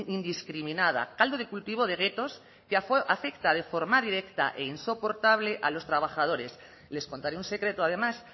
indiscriminada caldo de cultivo de guetos que afecta de forma directa e insoportable a los trabajadores les contaré un secreto además